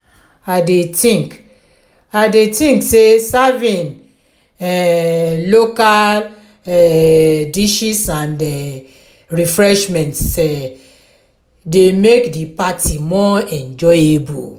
i dey think i dey think say serving um local um dishes and refreshments um dey make di party more enjoyable.